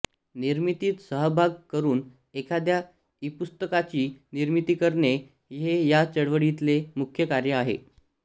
निर्मितीत सहभाग करून एखाद्या ईपुस्तकाची निर्मिती करणे हे या चळवळीतले मुख्य कार्य आहे